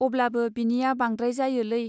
अब्लाबो बिनिया बांद्राय जायोलै.